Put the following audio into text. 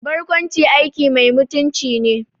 Barkwanci aiki mai mutunci ne